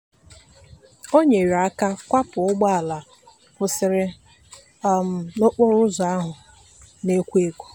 o nyere aka kwapụ ụgbọala kwụsịrị um n'okporoụzọ ahụ na-ekwo ekwo.